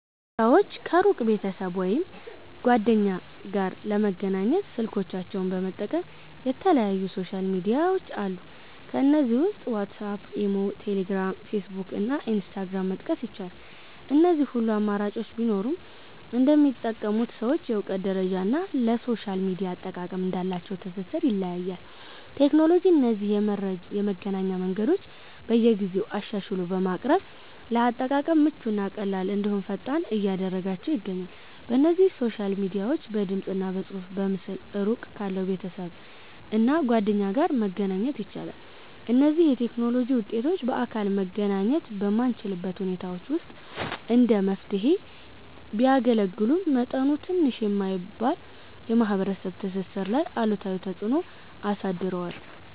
ሰወች ከሩቅ ቤተሰብ ወይም ጓደኛ ጋር ለመገናኘት ስልኮቻቸውን በመጠቀም የተለያዩ ሶሻል ሚድያዎች አሉ። ከነዚህም ውስጥ ዋትስአፕ፣ ኢሞ፣ ቴሌግራም፣ ፌስቡክ እና ኢንስታግራምን መጥቀስ ይቻላል። እነዚህ ሁሉ አማራጮች ቢኖሩም እንደሚጠቀሙት ሰዎች የእውቀት ደረጃ እና ለሶሻል ሚድያ አጠቃቀም እንዳላቸው ትስስር ይለያያል። ቴክኖሎጂ እነዚህን የመገናኛ መንገዶች በየጊዜው አሻሽሎ በማቅረብ ለአጠቃቀም ምቹ እና ቀላል እንድሁም ፈጣን እያደረጋችው ይገኛል። በእነዚህ ሶሻል ሚድያዎች በድምፅ፣ በፅሁፍ እና በምስል እሩቅ ካለ ቤተሰብ እና ጓደኛ ጋር መገናኛ ይቻላል። እነዚህ የቴክኖሎጂ ውጤቶች በአካል መገናኘት በማንችልባቸው ሁኔታዎች ውስጥ እንደ መፍትሔ ቢያገለግሉም፤ መጠኑ ትንሽ የማይባል የማህበረሰብ ትስስር ላይ አሉታዊ ተፅእኖ አሳድረዋል።